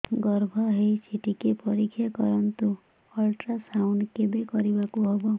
ଗର୍ଭ ହେଇଚି ଟିକେ ପରିକ୍ଷା କରନ୍ତୁ ଅଲଟ୍ରାସାଉଣ୍ଡ କେବେ କରିବାକୁ ହବ